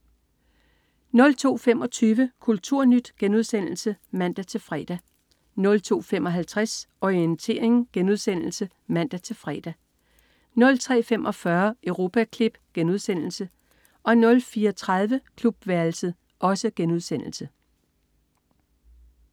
02.25 Kulturnyt* (man-fre) 02.55 Orientering* (man-fre) 03.45 Europaklip* 04.30 Klubværelset*